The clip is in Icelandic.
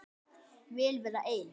Vil vera ein.